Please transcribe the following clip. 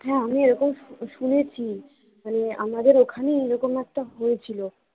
হ্যা আমি এরকম শুনেছি মানে আমাদের ওখানে এরকম একটা হয়েছিল